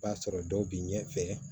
B'a sɔrɔ dɔw bi ɲɛfɛ